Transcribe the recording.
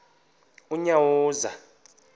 unyawuza